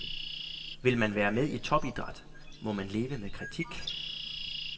Vil man være med i topidræt, må man leve med kritik.